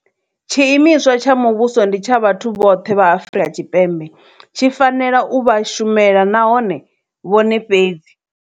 Tshiimiswa tsha muvhuso ndi tsha vhathu vhoṱhe vha Afrika Tshipembe. Tshi fanela u vha shumela nahone vhone fhedzi.